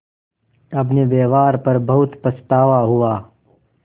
अपने व्यवहार पर बहुत पछतावा हुआ